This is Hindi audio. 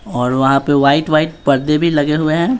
और वहाँ पे वाइट वाइट पर्दे भी लगे हुए हैं।